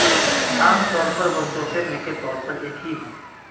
عام طور پر وہ صوفے میں کے طور پر ایک ہی ہیں